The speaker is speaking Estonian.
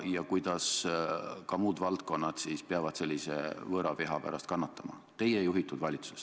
Ja ka muud valdkonnad peavad kannatama võõraviha pärast teie juhitud valitsuses.